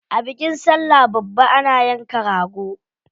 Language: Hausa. A bikin sallah babba ana yanka rago.